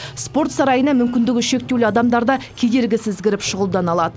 спорт сарайына мүмкіндігі шектеулі адамдар да кедергісіз кіріп шұғылдана алады